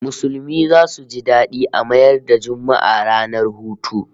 Musulmi zasu ji dadi a mayar da Juma'a ranar hutu